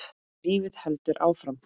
En lífið heldur áfram.